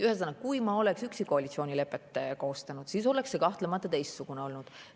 Ühesõnaga, kui ma oleksin üksi koalitsioonilepet koostanud, siis oleks see kahtlemata teistsugune olnud.